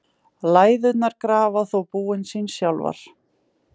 Læðurnar grafa þó búin sín sjálfar.